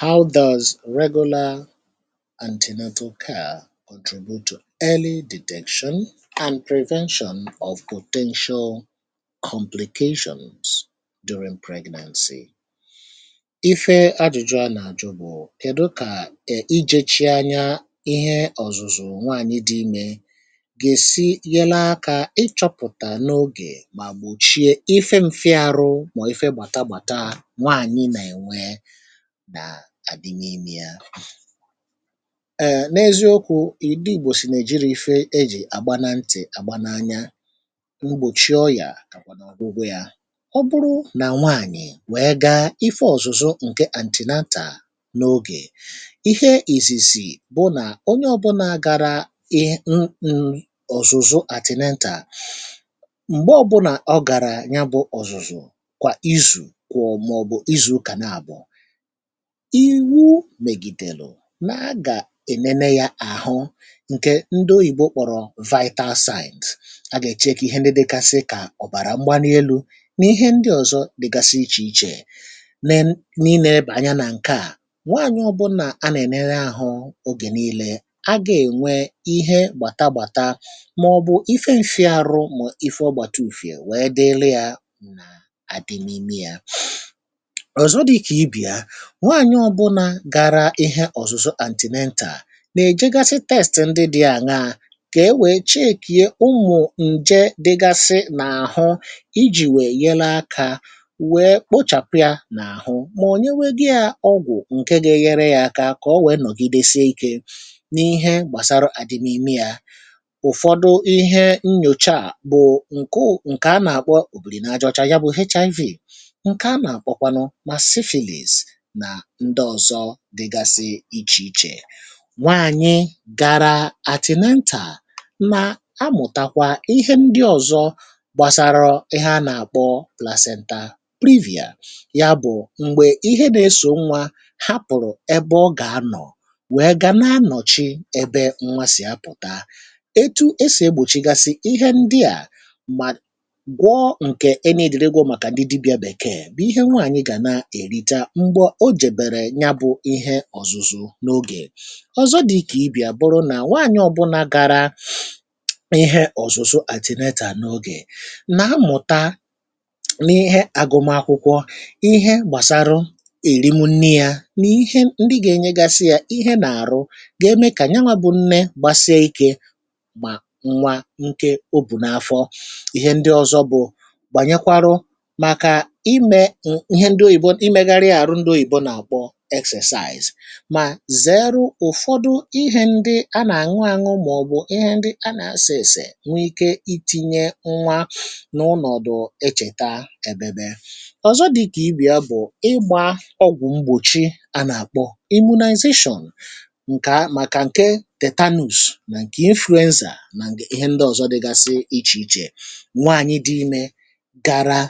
How does regular antenatal care contribute to early detection and prevention of potential?. Ife ajụjụ a na-ajụ bụ kedụ ka e, ijechi anya, ihe ọzụzụ nwanyị dị ime, ga-esi nyel aka ịchọpụta n’ọge ma gbọchie, ife nfia arụ ma ọ ife gbata gbata nwanyị na enwe na adịm ime ya? [ụm]. N’eziọkwụ, ị̀dị igbọ sị na ejirọ ife eji agba na ntị, agba n’anya. Ụgbọchi ọya, ka kwanụ ọgwụgwọ ya. Ọbụrụ na nwaanyị wee gaa ife ọzụzụ nke antinanta n’ọge, ife izizi bụ na ọnye ọbụna gara ihe mhmm, ọzụzụ antinenta, mgbe ọbụna ọ gara ya bụ ọzụzụ kwa izụ kwụ mụ maọbụ izụ ụka nabọ, iwụ megidelụ, na a ga-enene ya ahụ, nke ndị ọyibọ kpọrọ, vital signs, a ga-e check ihe ndị dịgasị ka ọbara mgbali elụ na ihe ndị ọzọ dịgasị iche iche, na e, na ileba anya na nkea, nwanyị ọbụna a na enene ahụ ọge nile a gha enwe ihe gbata gbata maọbụ ife nfia arụ ma ọ ife ọgbata ụfie wee dili ya na adi mụ ime ya. Ọzọ dịka ibe ya, nwanyị ọbụna gara ihe ọzụzụ antinenta na-ejegasi testi ndị dị aña, ka e wee checkie ụmụ nje dịgasị na ahụ, iji wee yelụ aka wee kpọchapụ ya na ahụ ma ọ nyewegọ ya ọgwụ nke ga-enyere ya aka ka ọ wee nọgide sie ike na ihe gbasara adịmụ ime ya. Ụfọdụ ihe nyọcha a bụ nke ụ, nke a na-akpọ Ọbiri na ajị-ọcha nke a na-akpọ HIV, nke a na-akpọ kwanụ ma Siphilis na ndọzọ dịgasị iche iche. Nwanyị gara atinental na amụ̀takwa ihe ndị ọ̀zọ gbasarọ ihe a na-akpọ placenta privia ya bụ̀ mgbe ihe na-esọ̀ nwa hapụ̀rụ̀ ebe ọ ga-anọ̀ wee ga na-anọ̀chi ebe nwa sì apụ̀ta etụ e sì egbọ̀chigasị ihe ndị a ma gwọ nke e neediri igwọ maka ndị dibịa bekee bụ̀ ihe nwaanyị ga na-erita mgbe ọ jebere nya bụ̇ ihe ọ̀zụ̀zụ̀ n’ọge. Ọ̀zọ̀ dị̇ ka ibì abụrụ na nwaanyị̀ ọ̀bụna gara ihe ọ̀zụ̀zụ̀ atinenta n’ọge na-amụ̀ta n’ihe agụmakwụkwọ ihe gbasarụ erim nni ya na ihe ndị ga-enyegasị ya ihe na-arụ ga-eme ka nyawa bụ̇ nne gbasie ike ma nwa nke ọ bù n’afọ. Ihe ndị ọzọ bụ̀ banyekwarụ maka ime ọ, ihe ndị ọyìbọ, imeghari arụ ndị ọyìbọ exercise. Ma zere ụ̀fọdụ ihe ndị a na añụ añụ maọbụ̀ ihe ndị a na-ase ese nwe ike itinye nwa n’ụnọ̀dụ echeta ebebe. Ọ̀zọ dị ka ibì ya bụ̀ ịgba ọgwụ̀ mgbọ̀chi a na-akpọ imụnizatiọn nke a, maka nke tetanụs na nke inflụenza na ihe ndị ọ̀zọ dịgasị iche iche. Nwaanyị dị ime gara